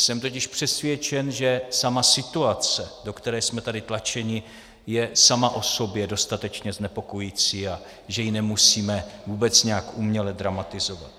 Jsem totiž přesvědčen, že sama situace, do které jsme tady tlačeni, je sama o sobě dostatečně znepokojující a že ji nemusíme vůbec nějak uměle dramatizovat.